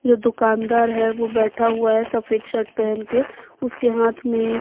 एक दुकानदार है वो बैठा हुआ है सफेद शर्ट पहन के उसके हाथ में--